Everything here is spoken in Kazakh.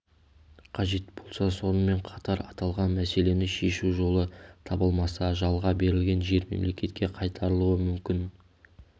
қажет болса сонымен қатар аталған мәселені шешу жолы табылмаса жалға берілген жер мемлекетке қайтарылуы мүмкін